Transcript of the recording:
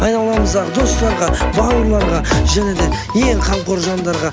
айналамыздағы достарға бауырларға және де ең қамқор жандарға